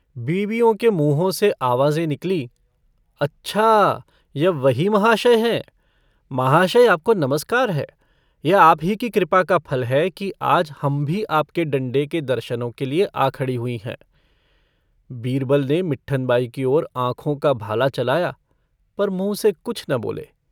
बीमियों के मुँहों से आवाजें निकलीं - अच्छा यह वही महाशय हैं! महाशय, आपको नमस्कार है। यह आप ही की कृपा का फल है कि आज हम भी आपके डण्डे के दर्शनों के लिए आ खड़ी हुई हैं। बीरबल ने मिट्ठन बाई की ओर आँखों का भाला चलाया पर मुँह से कुछ न बोले।